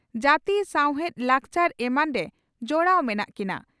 ᱡᱟᱹᱛᱤ ᱥᱟᱣᱦᱮᱫ ᱞᱟᱠᱪᱟᱨ ᱮᱢᱟᱱᱨᱮ ᱡᱚᱲᱟᱣ ᱢᱮᱱᱟᱜ ᱠᱤᱱᱟ ᱾